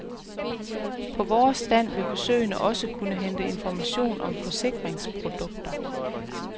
På vores stand vil besøgende også kunne hente information om forsikringsprodukter.